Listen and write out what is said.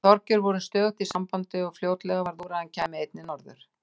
Við Þorgeir vorum stöðugt í sambandi og fljótlega varð úr að hann kæmi einnig norður.